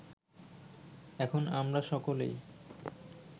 এখন আমরা সকলেই